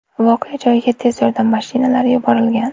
Voqea joyiga tez yordam mashinalari yuborilgan.